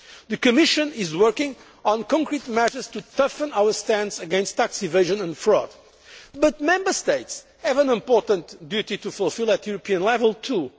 issue. The Commission is working on concrete measures to toughen our stance against tax evasion and fraud but Member States have an important duty to fulfil at European level